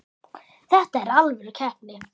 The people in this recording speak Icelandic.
Þetta er alvöru keppni.